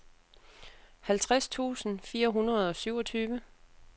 halvtreds tusind fire hundrede og syvogtyve